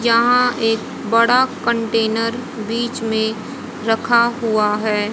जहां एक बड़ा कंटेनर बीच में रखा हुआ है।